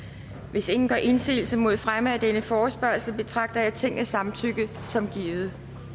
hvis ingen gør indsigelse mod fremme af denne forespørgsel betragter jeg tingets samtykke som givet